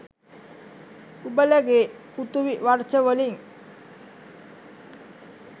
උබලගේ පෘතුවි වර්ෂ වලින්